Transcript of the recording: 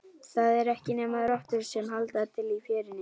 Það eru ekki nema rottur sem halda til í fjörunni.